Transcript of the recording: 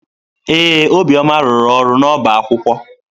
Ee, Obiọma rụrụ ọrụ n'ọbá akwụkwọ.